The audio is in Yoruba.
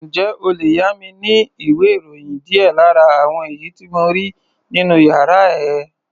Ǹjẹ́ o lè yá mi ní ìwé-ìròyìn díẹ̀ lára àwọn èyí tí mo rí nínú yàrá ẹ?